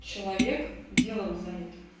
человек делом занят